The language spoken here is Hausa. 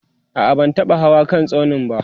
a'a ban taba Hawa kan tsaunin ba